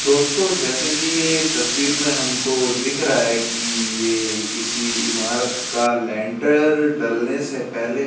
दोस्तों जैसे की ये तस्वीर में हमको दिख रहा है की ये किसी ईमारत का लेंटर डलने से पहले --